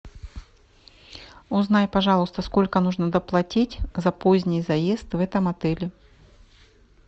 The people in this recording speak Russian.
узнай пожалуйста сколько нужно доплатить за поздний заезд в этом отеле